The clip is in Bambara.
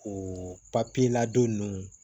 O papiye ladon ninnu